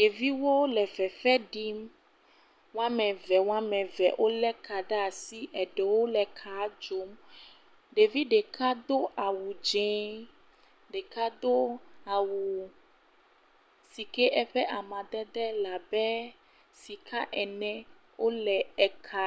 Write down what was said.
Ɖeviwo le fefe ɖim. Wo ame eve eve wole ka ɖe asi, wole kaa dzom. Ɖevi ɖeka do awu dzɛ̃, ɖeka do awu si ke eƒe amadede le abe sika ene wole ka